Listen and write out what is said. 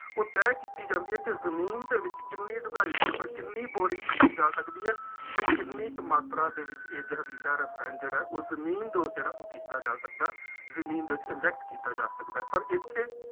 ਉਹ ਤਹਿ ਕੀਤੀ ਜਾਂਦੀ ਹੈ ਕਿ ਜ਼ਮੀਨ ਦੇ ਵਿੱਚ ਕਿੰਨੀ ਡੂੰਘਾਈ ਦੇ ਉੱਪਰ ਕਿੰਨੀ ਬੋਰਿੰਗ ਕੀਤੀ ਜਾ ਸਕਦੀ ਹੈ ਅਤੇ ਕਿੰਨੀ ਕੁ ਮਾਤਰਾ ਦੇ ਵਿੱਚ ਇਹ ਜ਼ਹਿਰੀਲਾ ਰਸਾਇਣ ਜਿਹੜਾ ਉਹ ਜ਼ਮੀਨਦੋਜ਼ ਜਿਹੜਾ ਉਹ ਕੀਤਾ ਜਾ ਸਕਦਾ, ਜ਼ਮੀਨ ਦੇ ਵਿੱਚ inject ਕੀਤਾ ਜਾ ਸਕਦਾ, ਪਰ ਇੱਥੇ